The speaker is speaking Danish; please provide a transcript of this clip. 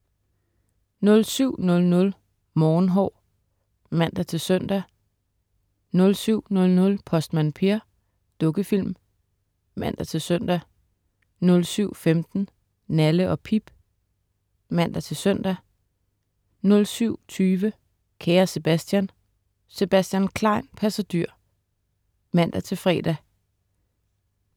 07.00 Morgenhår (man-søn) 07.00 Postmand Per. Dukkefilm (man-søn) 07.15 Nalle & Pip (man-søn) 07.20 Kære Sebastian. Sebastian Klein passer dyr (man-fre)